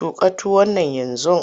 Tuƙa tuwon nan yanzu!